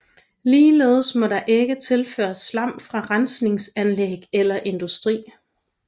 Ligeledes må der ikke tilføres slam fra rensningsanlæg eller industri